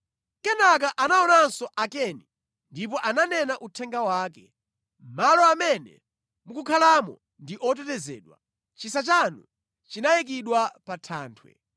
Kenaka anaonanso Akeni ndipo ananena uthenga wake, “Malo amene mukukhalamo ndi otetezedwa, chisa chanu chinayikidwa pa thanthwe;